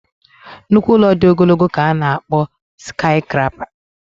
nnukwu ụlọ dị ogologo ka a na-akpọ sikayiscrapa